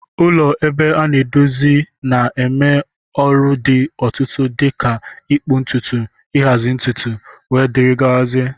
Ụlọ ebe a na-edozi na-eme ọrụ dị otụtụ dika ịkpụ ntutu, nhazi ntutu wdg.